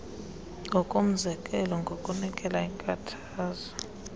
ngokomzekelo ngokunikela iinkuthazo